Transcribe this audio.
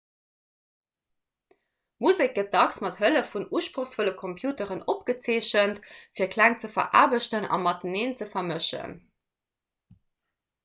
musek gëtt dacks mat hëllef vun usprochsvolle computeren opgezeechent fir kläng ze veraarbechten a mateneen ze vermëschen